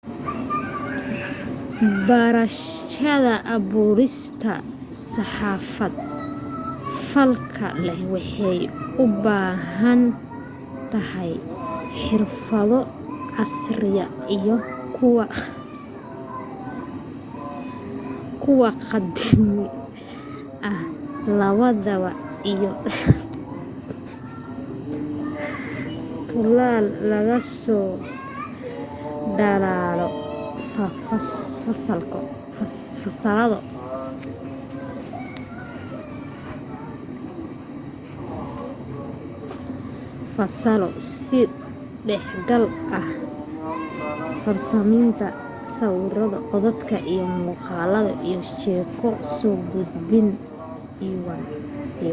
barashada abuurista saxaafad falgal leh waxay u baahan tahay xirfado casriya iyo kuw qadiimi ah labadaba iyo sidoo kale tuulal lagaga soo dhalaalo fasalo is dhexgal ah farsamaynta sawiro codad iyo muuqaalo iyo sheeko soo gudbin iwm.